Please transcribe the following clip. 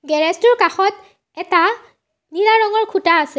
গেৰেজটোৰ কাষত এটা নীলা ৰঙৰ খুঁটা আছে।